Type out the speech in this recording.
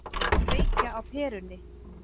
Að kveikja á perunni